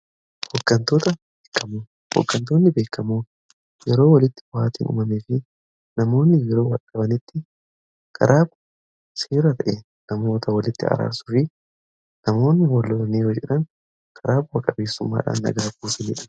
Hoggantoonni beekamoon yeroo walitti bu'aatiin uumamee fi namoonni yeroo walitti bu'anitti karaa bu'aa seeraa ta'e namoota walitti araarsu fi namoonni wallolaan jedhan karaa bu'a qabeessummaadhaan nagaa buusaniidha.